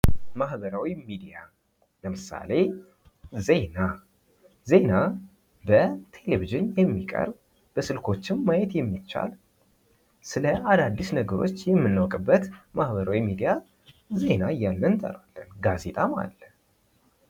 ዜና ዓለም አቀፍ ግንኙነቶችን በማጠናከርና የባህል ልውውጥን በማበረታታት ስለሌሎች አገሮችና ህዝቦች የተሻለ ግንዛቤ እንዲኖር ያደርጋል።